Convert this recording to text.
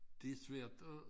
Det svært at